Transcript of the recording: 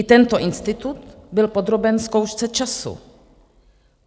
I tento institut byl podroben zkoušce času.